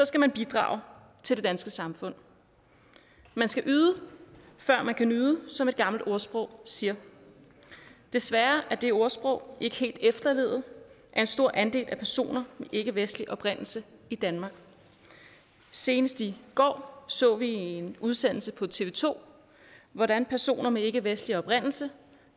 skal man bidrage til det danske samfund man skal yde før man nyde som et gammelt ordsprog siger desværre er det ordsprog ikke helt efterlevet af en stor andel af personer med ikkevestlig oprindelse i danmark senest i går så vi i en udsendelse på tv to hvordan personer med ikkevestlig oprindelse